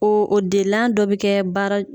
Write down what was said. Oo o delan dɔ bɛ kɛ baara